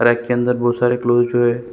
Rack के अन्दर बहुत सारे क्लॉथ जो है।